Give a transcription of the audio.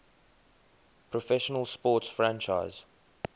professional sports franchise